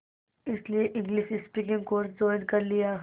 इसलिए English speaking course join कर लिया